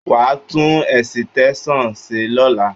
Wà á tún ẹ̀sìtẹ́ṣàn ṣe lọ́la!